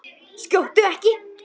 Skjóttu ekki.